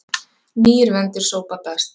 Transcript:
Nýir vendir sópa best.